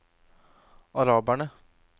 araberne